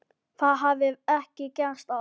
Það hafi ekki gerst áður.